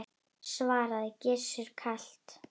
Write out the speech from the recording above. svaraði Gizur kalt.